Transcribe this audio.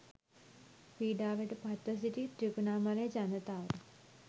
පීඩාවට පත්ව සිටි ත්‍රිකුණාමලයේ ජනතාව